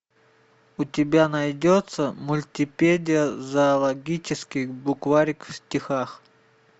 у тебя найдется мультипедия зоологический букварик в стихах